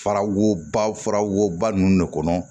Fara wobara woba ninnu de kɔnɔ